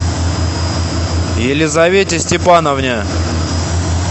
елизавете степановне